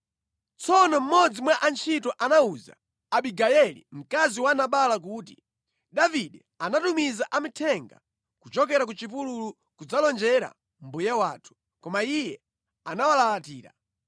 Tsono mmodzi mwa antchito anawuza Abigayeli mkazi wa Nabala kuti, “Davide anatumiza amithenga kuchokera ku chipululu kudzalonjera mbuye wathu, koma iye anawalalatira.